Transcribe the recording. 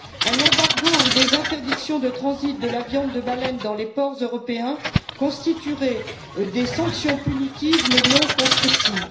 Un embargo ou des interdictions de transit de la viande de baleine dans les ports européens constitueraient des sanctions punitives, mais non constructives.